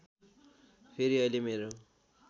फेरि अहिले मेरो